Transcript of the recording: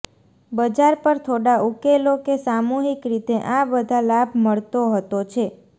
બજાર પર થોડા ઉકેલો કે સામૂહિક રીતે આ બધા લાભ મળતો હતો છે